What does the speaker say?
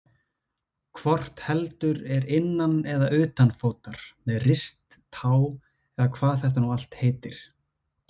Hvort heldur er innan eða utanfótar, með rist, tá eða hvað þetta nú allt heitir.